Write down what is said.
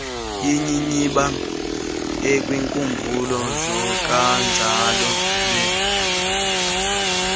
yinyibiba ekwiinkumbulo zokajolobe